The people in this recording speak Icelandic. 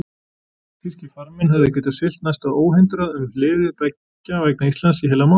Þýskir farmenn höfðu getað siglt næsta óhindrað um hliðið beggja vegna Íslands í heilan mánuð.